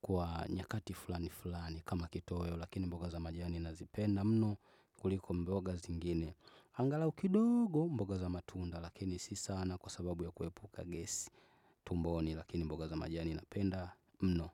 kwa nyakati fulani fulani kama kitoweo, lakini mboga za majani nazipenda mno kuliko mboga zingine. Angalau kidogo mboga za matunda, lakini si sana kwa sababu ya kuhepuka gesi tumboni, lakini mboga za majani napenda mno.